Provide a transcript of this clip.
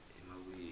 emabuyeni